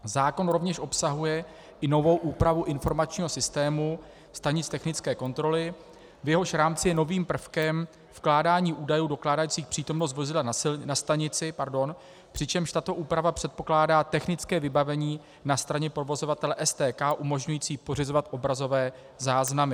Zákon rovněž obsahuje i novou úpravu informačního systému stanic technické kontroly, v jehož rámci je novým prvkem vkládání údajů dokládajících přítomnost vozidla na stanici, přičemž tato úprava předpokládá technické vybavení na straně provozovatele STK umožňující pořizovat obrazové záznamy.